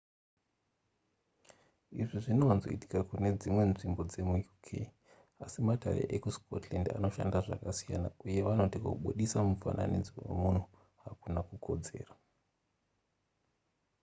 izvi zvinowanzoitika kune dzimwe nzvimbo dzemuuk asi matare ekuscotland anoshanda zvakasiyana uye vanoti kubudisa mufananidzo wemunhu hakuna kukodzera